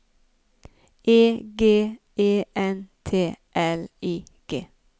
E G E N T L I G